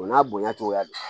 O n'a bonya cogoya don